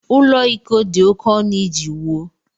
Ụlọ iko dị oké ọnụ iji wuo.